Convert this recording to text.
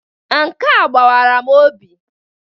Nke a gbawara m obi.